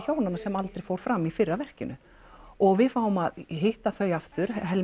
hjónanna sem aldrei fór fram í fyrra verkinu og við fáum að hitta þau aftur